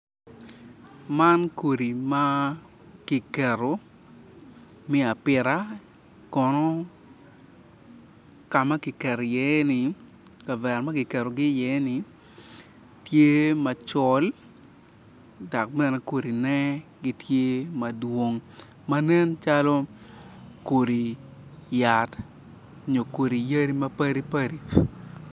Man kodi ma ki keto miya apita kono ka ma ki keto iye ni kavera ma ki ketogi iye ni tye macol dok bene kodine tye macol manen calo kodi yat nyo kodi yadi ma padi padi